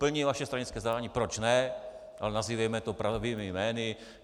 Plní vaše stranické zadání, proč ne, ale nazývejme to pravými jmény.